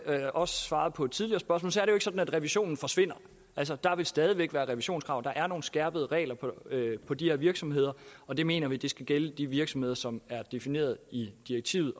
også svarede på et tidligere spørgsmål er sådan at revisionen forsvinder altså der vil stadig væk være et revisionskrav der er nogle skærpede regler for de her virksomheder og vi mener de skal gælde for de virksomheder som er defineret i direktivet